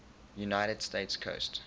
united states coast